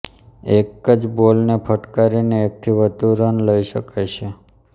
એક જ બોલને ફટકારીને એકથી વધુ રન લઈ શકાય છે